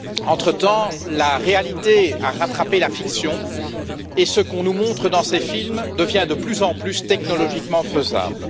Entretemps, la réalité a rattrapé la fiction, et ce qu'on nous montre dans ces films devient de plus en plus technologiquement faisable.